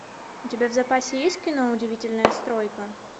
у тебя в запасе есть кино удивительная стройка